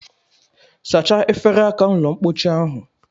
Sachaa efere aka ụlọmpochi ahụ